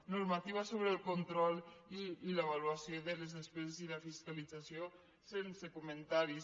normativa sobre el control i l’avaluació de les despeses i la fiscalització sense comentaris